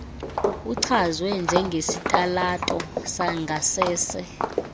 uchazwe njengesitalato sangasese